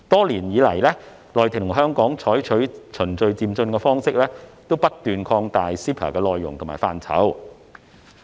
內地和香港多年來採取循序漸進的方式，不斷擴闊 CEPA 的內容和範疇。